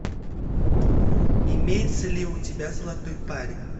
имеется ли у тебя золотой парень